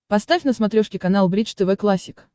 поставь на смотрешке канал бридж тв классик